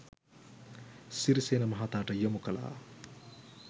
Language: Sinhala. සිරිසේන මහතාට යොමු කළා